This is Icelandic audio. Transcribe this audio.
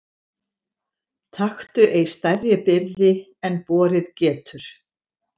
Taktu ei stærri byrði en borið getur.